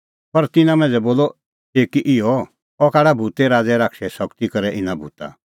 पर तिन्नां मांझ़ै बोलअ कई इहअ अह काढा भूते राज़ै शैताने शगती करै इना भूता